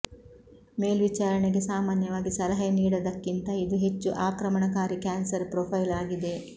ಮೇಲ್ವಿಚಾರಣೆಗೆ ಸಾಮಾನ್ಯವಾಗಿ ಸಲಹೆ ನೀಡದಕ್ಕಿಂತ ಇದು ಹೆಚ್ಚು ಆಕ್ರಮಣಕಾರಿ ಕ್ಯಾನ್ಸರ್ ಪ್ರೊಫೈಲ್ ಆಗಿದೆ